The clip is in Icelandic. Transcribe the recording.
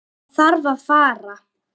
Hann þarf að fara.